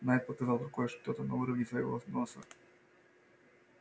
найд показал рукой что-то на уровне своего носа